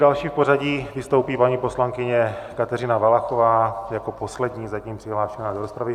Další v pořadí vystoupí paní poslankyně Kateřina Valachová jako poslední zatím přihlášená do rozpravy.